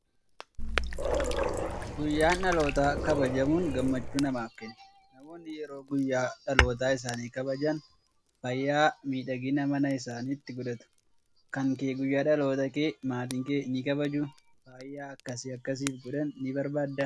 Guyyaan dhalootaa kabajamuun gammachuu namaaf kenna. Namoonni yeroo guyyaa dhaloota isaanii kabajan faaya miidhaginaa mana isaaniitti godhatu. Kan kee guyyaa dhaloota kee maatiin kee ni kabajuu? Faaya akkasii akka siif godhan ni barbaaddaa?